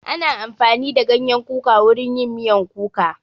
Ana amfani da ganyen kuka wurin yin miyan kuka